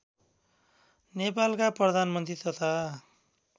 नेपालका प्रधानमन्त्री तथा